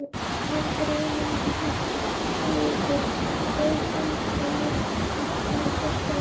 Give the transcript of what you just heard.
Aðgreining hugar og handar átti sér stað.